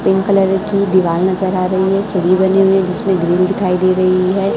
Pink colour की दीवाल नजर आ रही है सीढ़ी बनी हुई है जिसमें ग्रील दिखाई दे रही है।